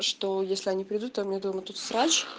что если они придут а у меня дома тут срач